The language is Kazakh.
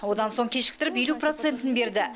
одан соң кешіктіріп елу процентін берді